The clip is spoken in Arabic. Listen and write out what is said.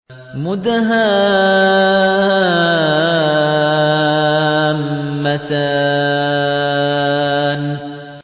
مُدْهَامَّتَانِ